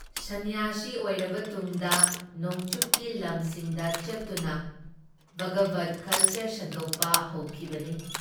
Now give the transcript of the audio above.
ꯁꯟꯅ꯭ꯌꯥꯁꯤ ꯑꯣꯏꯔꯕ ꯇꯨꯡꯗ ꯅꯣꯡꯆꯨꯞꯀꯤ ꯂꯝꯁꯤꯡꯗ ꯆꯠꯇꯨꯅ ꯚꯒꯕꯠ ꯀꯜꯆꯔ ꯁꯟꯗꯣꯛꯄ ꯍꯧꯈꯤꯕꯅꯤ ꯫